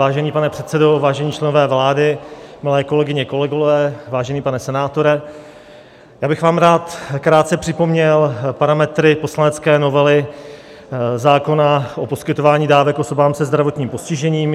Vážený pane předsedo, vážení členové vlády, milé kolegyně, kolegové, vážený pane senátore, já bych vám rád krátce připomněl parametry poslanecké novely zákona o poskytování dávek osobám se zdravotním postižením.